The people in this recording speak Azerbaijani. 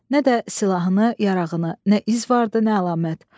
Nə də silahını, yarağını, nə iz vardı, nə əlamət.